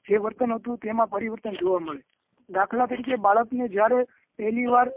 જે વર્તન હતું તેમાં પરિવર્તન જોવા મળે દાખલ તરીકે બાળક ને જયારે પહેલી વાર